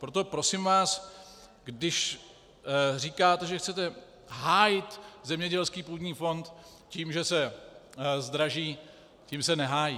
Proto prosím vás, když říkáte, že chcete hájit zemědělských půdní fond tím, že se zdraží, tím se nehájí.